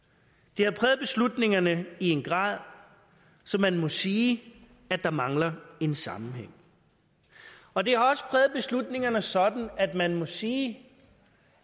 det har præget beslutningerne i en grad så man må sige at der mangler en sammenhæng og det har også præget beslutningerne sådan at man må sige